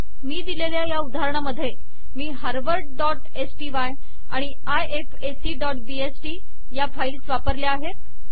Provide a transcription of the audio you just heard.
मी दिलेल्या या उदाहरणामध्ये मी harvardस्टाय आणि ifacबीएसटी या फाईल्स वापरल्या आहेत